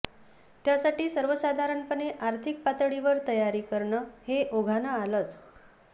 त्यासाठी सर्वसाधारणपणे आर्थिक पातळीवर तयारी करणं हे ओघानं आलंच